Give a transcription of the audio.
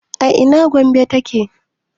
a ina Gombe ta ke?